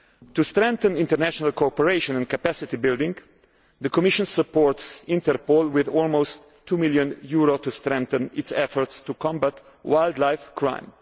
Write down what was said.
trade. To strengthen international cooperation and capacity building the Commission supports Interpol with almost EUR 2 million to strengthen its efforts to combat wildlife